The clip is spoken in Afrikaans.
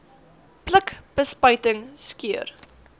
pluk bespuiting skeer